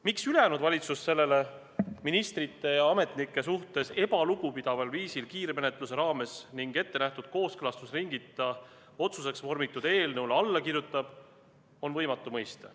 Miks ülejäänud valitsus sellele ministrite ja ametnike suhtes lugupidamatul viisil kiirmenetluse raames ning ettenähtud kooskõlastusringita otsuseks vormitud eelnõule alla kirjutab, on võimatu mõista.